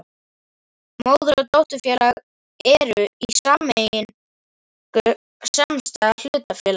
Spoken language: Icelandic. Móður- og dótturfélag eru í sameiningu samstæða hlutafélaga.